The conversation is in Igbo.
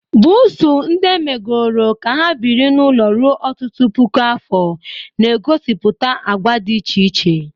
Buusu, ndị emegoro ka ha biri n'ụlọ ruo ọtụtụ puku afọ, na-egosipụta àgwà dị iche iche.